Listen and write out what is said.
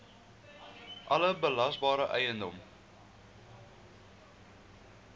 alle belasbare eiendom